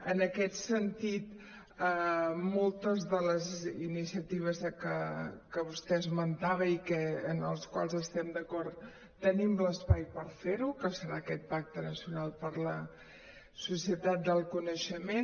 en aquest sentit moltes de les iniciatives que vostè esmentava en les quals estem d’acord tenim l’espai per fer·ho que serà aquest pacte nacional per a la societat del coneixement